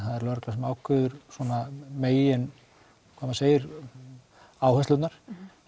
það er lögreglan sem ákveður svona megin hvað maður segir áherslurnar